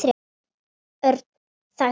Örn þagði.